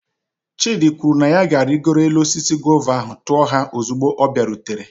Chidi kwuru na ya ga-arịgoro osisi guava ahụ, tuo ha ozugbo ọ bịarutere.